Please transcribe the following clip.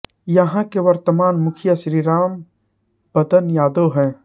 यहां के वर्तमान मुखिया श्री राम बरन यादव है